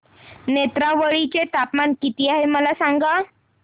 नेत्रावळी चे तापमान किती आहे मला सांगा